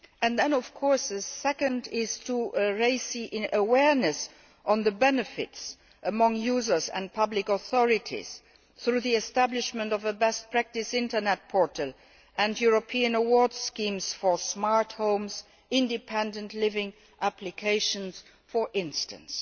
The second measure is to raise awareness of the benefits among users and public authorities through the establishment of a best practice Internet portal and European award schemes for smart homes independent living applications for instance.